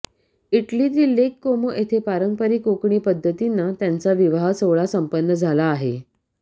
इटलीतील lake Como इथं पारपांरिक कोकणी पद्धतीनं त्यांचा विवाह सोहळा संपन्न झाला आहे